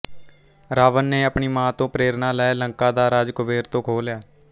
ਰਾਵਣ ਨੇ ਆਪਣੀ ਮਾਂ ਤੋਂ ਪ੍ਰੇਰਣਾ ਲੈ ਲੰਕਾਂ ਦਾ ਰਾਜ ਕੁਬੇਰ ਤੋਂ ਖੋਹ ਲਿਆ